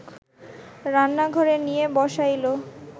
রান্নাঘরে নিয়া বসাইল